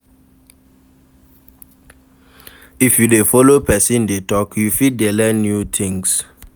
If you de follow persin de talk you fit de learn new things